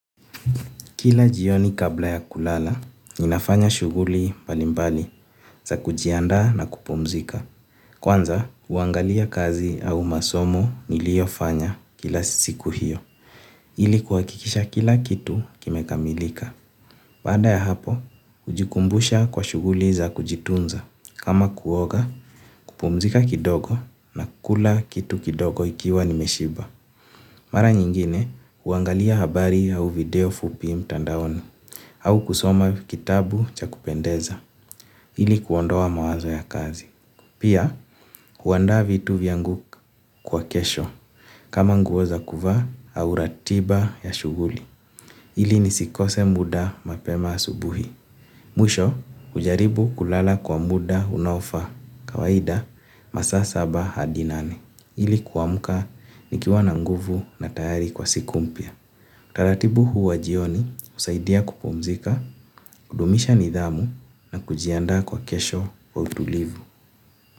Kila jioni kabla ya kulala, ninafanya shughuli mbalimbali za kujianda na kupumzika. Kwanza huangalia kazi au masomo niliyofanya kila siku hiyo ili kuhakikisha kila kitu kimekamilika. Baada ya hapo, hujikumbusha kwa shughuli za kujitunza. Kama kuoga, kupumzika kidogo na kula kitu kidogo ikiwa nimeshiba. Mara nyingine, huangalia habari au video fupi mtandaoni. Au kusoma kitabu cha kupendeza, ili kuondoa mawazo ya kazi. Pia, huandaa vitu vyangu kwa kesho, kama nguo za kuvaa, au ratiba ya shughuli. Ili nisikose muda mapema asubuhi. Mwisho hujaribu kulala kwa muda unaofaa, kawaida masaa saba hadi nane. Ili kuamuka nikiwa na nguvu na tayari kwa siku mpya taratibu huwa jioni husaidia kupumzika, kudumisha nidhamu na kujiandaa kwa kesho kwa utulivu.